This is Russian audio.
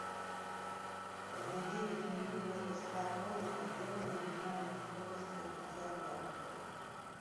на девять минут мастерская комната сделай на минимальную скорость кондиционера